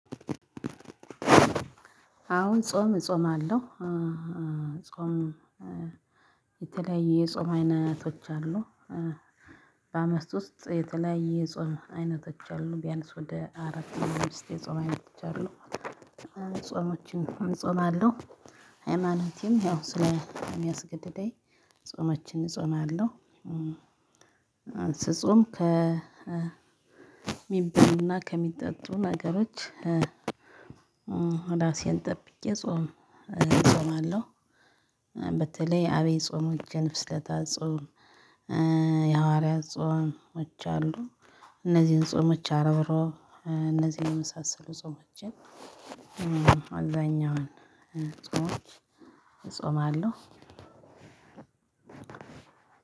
አሁን ጾም እጾማለሁ። ጾም የተለያዩ የጾም አይነቶች አሉ። በአመት ውስጥ የተለያዩ የጾም አይነቶች አሉ ቢያንስ ወደ አራት አምስት የጾም አይነቶች አሉ። ጾሞችን እጾማለሁ። ሃይማኖቴም ያው ስለሚያስገድደኝ ጾሞችን እጾማለሁ። ስጾም ከሚበሉና ከሚጠጡ ነገሮች። ራሴን ጠብቄ ጾም እጾማለሁ። በተለይ አብይ ጾሞችን ፍስለታ ጾም። የሐዋርያት ጾሞች አሉ። እነዚህን ጾሞች አርብ እሮብ እነዚህ የመሳሰሉ ጾሞችን። አብዛኛውን ጾም እጾማለሁ።